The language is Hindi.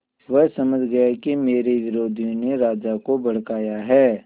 वह समझ गया कि मेरे विरोधियों ने राजा को भड़काया है